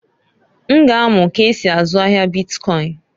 N ga amu k'esi azụ ahia bitkọịn.